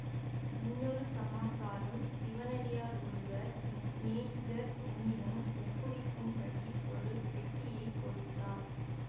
இன்னொரு சமாசாரம் சிவனடியார் ஒருவர் என் சிநேகிதர் உன்னிடம் ஒப்புவிக்கும்படி ஒரு பெட்டியைக் கொடுத்தார்